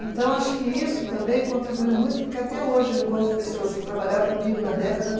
Então, acho que isso também contribuiu muito porque até hoje eu encontro pessoas que trabalharam comigo na década de